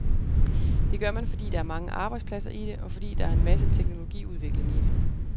Det gør man, fordi der er mange arbejdspladser i det, og fordi der en masse teknologiudvikling i det.